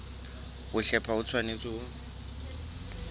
ho hlepha ho tshwanetse ho